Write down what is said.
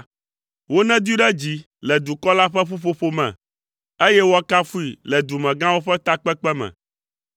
Wonedoe ɖe dzi le dukɔ la ƒe ƒuƒoƒo me, eye woakafui le dumegãwo ƒe takpekpe me.